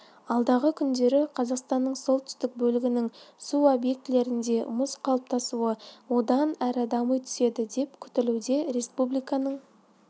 алдағы күндері қазақстанның солтүстік бөлігінің су объектілерінде мұз қалыптасуы одан әрі дами түседі деп күтілуде республиканың